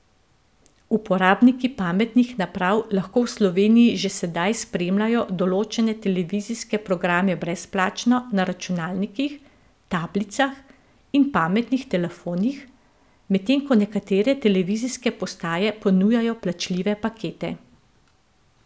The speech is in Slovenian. Uporabniki pametnih naprav lahko v Sloveniji že sedaj spremljajo določene televizijske programe brezplačno na računalnikih, tablicah in pametnih telefonih, medtem ko nekatere televizijske postaje ponujajo plačljive pakete.